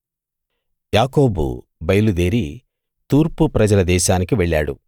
యాకోబు బయలుదేరి తూర్పు ప్రజల దేశానికి వెళ్ళాడు